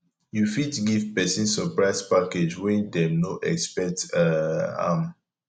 you fit give person surprise package when dem no expect um am